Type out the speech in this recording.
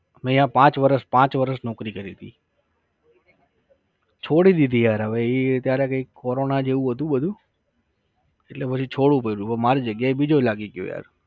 મે ત્યાં પાંચ વરસ, પાંચ વરસ નૌકરી કરી હતી. છોડી દીધી યાર હવે એ ત્યારે કઈક કોરોના જેવું હતું બધું, એટલે પછી છોડવું પડયું. હવે મારી જગ્યાએ બીજો લાગી ગયો યાર